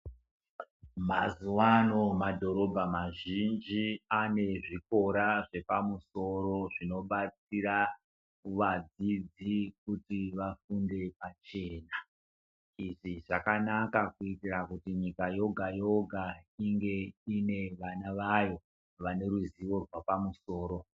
Mazuva ano madhorobha mazhinji aane zvikora zvepamusoro zvino batsira vadzidzi kuti vafunde pachena, izvi zvakanaka kuitira kuti nyika yoga yoga inge ine vana vayo vane ruzivo rwapamusoro.